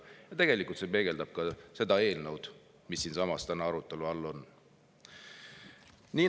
Ja tegelikult peegeldab see ka seda eelnõu, mis täna siinsamas arutelu all on.